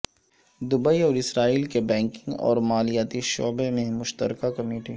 Dubai اور Israel کی banking اور مالیاتی شعبے میں مشترکہ کمیٹی